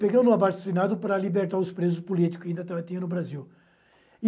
Pegando um abaixo-assinado para libertar os presos políticos, que ainda tinha no Brasil.